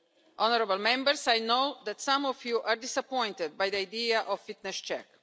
Honourable Members, I know that some of you are disappointed by the idea of the fitness check.